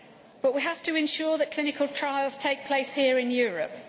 But we have to ensure that clinical trials take place here in Europe.